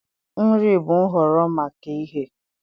Nri bụ nhọrọ maka ighe.